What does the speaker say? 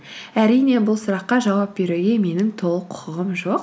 әрине бұл сұраққа жауап беруге менің толық құқығым жоқ